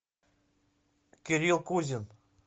кирилл кузин